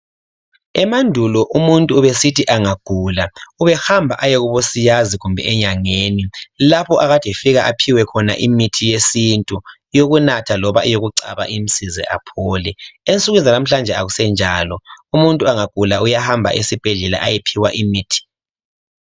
Emandulo umuntu ubesithi engagula ubehamba ayekubosiyazi kumbe enyangeni lapha ekade efika aphiwe khona imithi yesintu eyokunatha loba eyokucaba imsize aphole ensukwini sanamuhlanje akusenjalo umuntu agula uyahamba esibhedlela ayephiwa imithi.